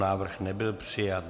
Návrh nebyl přijat.